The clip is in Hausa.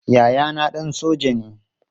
Yayana ɗan soja ne.